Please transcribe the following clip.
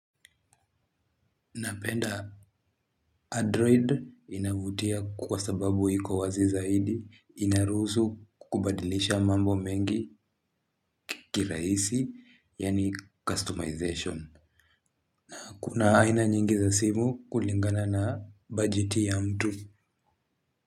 Napenda Android inavutia kwa sababu iko wazi zaidi inaruhusu kubadilisha mambo mengi kirahisi, yaani customization. Na kuna aina nyingi za simu. Kulingana na bajeti ya mtu.